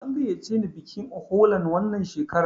An gayyace ni bikin Uholan wannan shekarar.